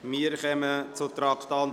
Wir kommen zum Traktandum 48.